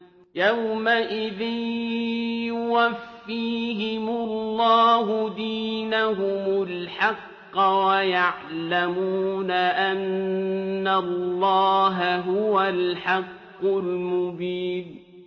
يَوْمَئِذٍ يُوَفِّيهِمُ اللَّهُ دِينَهُمُ الْحَقَّ وَيَعْلَمُونَ أَنَّ اللَّهَ هُوَ الْحَقُّ الْمُبِينُ